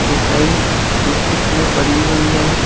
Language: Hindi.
मिठाई शोकॅश में पड़ी हुई है।